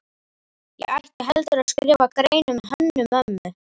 Ég ætti heldur að skrifa grein um Hönnu-Mömmu.